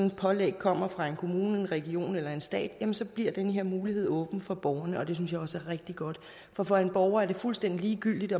et pålæg kommer fra en kommune en region eller staten bliver den her mulighed åben for borgeren og det synes jeg også er rigtig godt for for en borger er det fuldstændig ligegyldigt